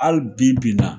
Hali bi bi in na